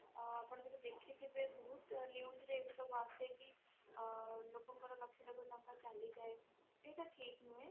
ଆପଣ ଯଦି ଦେଖିଥିଲ=ବେ ବହୁତ news ରେ ଏସବୁ ଆସିଲାଣି ଆଁ ଲୋକଙ୍କର ଲକ୍ଷ ଲକ୍ଷ ତାଙ୍କ ଚାଲି ଯାଏ ସେଇଟା ଠିକ ନୁହେଁ